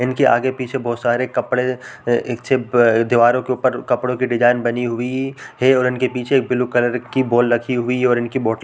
इनके आगे पीछे बोहोत सारे कपड़े एक ठे दीवारों के ऊपर कपड़ों की डिजाइन बनी हुई है और उनके पीछे ब्लू कलर की बॉल रखी हुई है और इनकी बोटल --